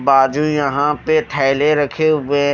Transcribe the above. बाजू यहाँ पे थैले रखे हुए --